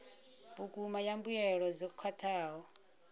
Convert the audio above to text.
vhukuma ya mbuelo dzo khwathaho